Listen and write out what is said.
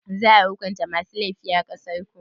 Za a hukunta masu laifi a ƙasarku?